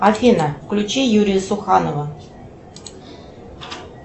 афина включи юрия суханова